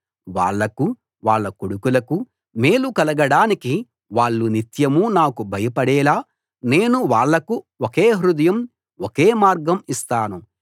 వాళ్ళకూ వాళ్ళ కొడుకులకూ మేలు కలగడానికి వాళ్ళు నిత్యం నాకు భయపడేలా నేను వాళ్లకు ఒకే హృదయం ఒకే మార్గం ఇస్తాను